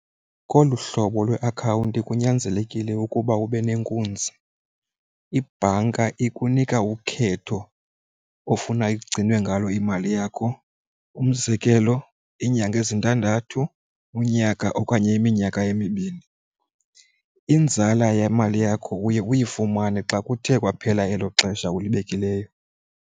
Kolu hlobo lweakhawunti kunyanzelekile ukuba ube nenkunzi. Ibhanka ikunika ukhetho ofuna igcinwe ngalo imali yakho umzekelo iinyanga ezintandathu unyaka okanye iminyaka emibini. Inzala yemali yakho uye uyifumane xa kuthe kwaphela elo xesha ulibekileyo.